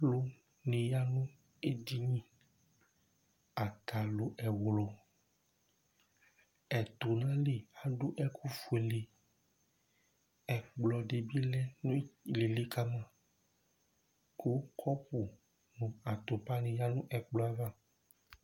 Alʋ ni ya nʋ edini Atalu ɛwlu Ɛtu nʋ ayìlí adu ɛku fʋele Ɛkplɔ di bi lɛ nʋ ìlí kama kʋ kɔpu nu atupa ni ya nʋ ɛkplɔ ava